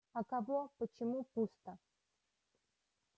а кого почему пусто